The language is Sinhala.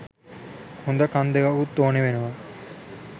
හොද කන් දෙකකුත් ඕනේ වෙනවා